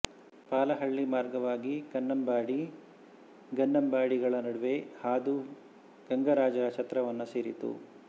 ಪಾಲಹಳ್ಳಿ ಮಾರ್ಗವಾಗಿ ಕನ್ನಂಬಾಡಿ ಗನ್ನಂಬಾಡಿಗಳ ನಡುವೆ ಹಾದು ಗಂಗರಾಜರ ಛತ್ರವನ್ನು ಸೇರಿತು